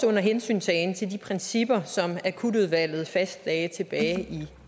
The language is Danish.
under hensyntagen til de principper som akutudvalget fastlagde tilbage i